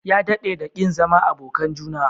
Ya dadde da kin zama abokan juna?